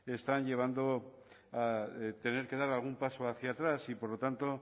están llevando a tener que dar algún paso hacia atrás y por lo tanto